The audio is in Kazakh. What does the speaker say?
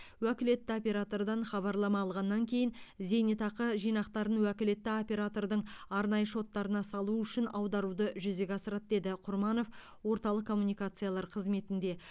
уәкілетті оператордан хабарлама алғаннан кейін зейнетақы жинақтарын уәкілетті оператордың арнайы шоттарына салу үшін аударуды жүзеге асырады деді құрманов орталық коммуникациялар қызметінде